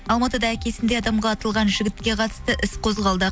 алматыда әкесіндей адамға атылған жігітке қатысты іс қозғалды